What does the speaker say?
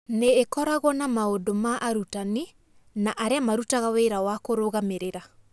Nĩ ĩkoragwo na maũndũ ma arutani na arĩa marutaga wĩra wa kũrũgamĩrĩra.